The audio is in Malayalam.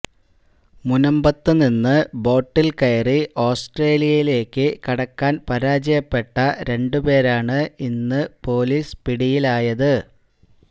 മുനമ്പത്ത് നിന്ന് ബോട്ടിൽ കയറി ഓസ്ട്രേലിയയിലേക്ക് കടക്കാൻ പരാജയപ്പെട്ട രണ്ട് പേരാണ് ഇന്ന് പൊലീസ് പിടിയിലായത്